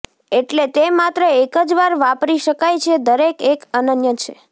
એટલે તે માત્ર એક જ વાર વાપરી શકાય છે દરેક એક અનન્ય છે